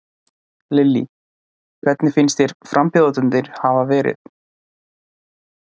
Lillý: Hvernig finnst þér frambjóðendurnir hafa verið?